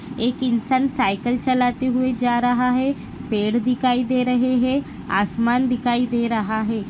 एक इंसान साइकल चलाते हुए जा रहा है पेड़ दिखाई दे रहे है आसमान दिखाई दे रहा है।